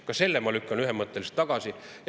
Ka selle lükkan ma ühemõtteliselt tagasi.